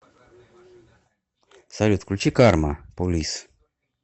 салют включи карма полис